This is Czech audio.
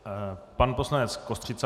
Pan poslanec Kostřica.